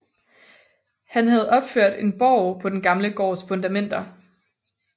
Han havde opført en borg på den gamle gårds fundamenter